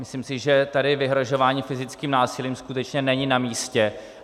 Myslím si, že tady vyhrožování fyzickým násilím skutečně není na místě.